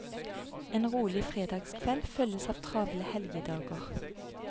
En rolig fredagskveld følges av travle helgedager.